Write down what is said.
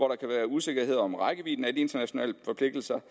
kan være usikkerhed om rækkevidden af de internationale forpligtelser